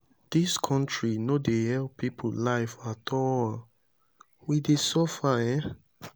dis country no dey help people life at all. we dey suffer um.